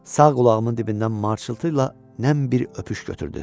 Sağ qulağımın dibindən marçıltı ilə nəm bir öpüş götürdü.